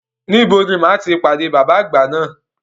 Níbo ni máa ti pàdé bàbá àgbà náà?